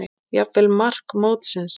Jafnvel mark mótsins?